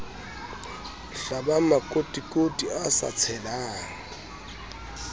hlabang makotikoti a sa tshelang